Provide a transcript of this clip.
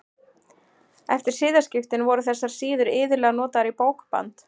Eftir siðaskiptin voru þessar síður iðulega notaðar í bókband.